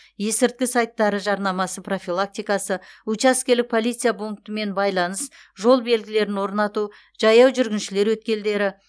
есірткі сайттары жарнамасы профилактикасы учаскелік полиция пунктімен байланыс жол белгілерін орнату жаяу жүргіншілер өткелдері